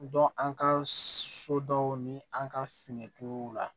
an ka so dɔw ni an ka finituguw la